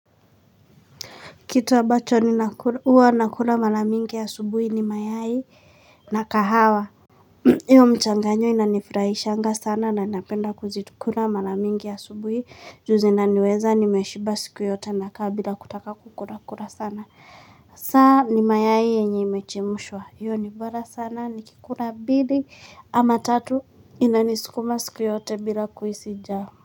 Kitu ambacho huwa nakula sana asubuhi ni mayai na kahawa hiyo mchanganyo inanifurahishanga sana na napenda kuzikula mara nyingi asubuhi juu zinaniweza nimeshiba siku yote na kaa bila kutaka kukula kula sana saa ni mayai yenye imechemshwa hiyo nibora sana nikikula mbili ama tatu inanisukuma siku yote bila kuhisi njaa.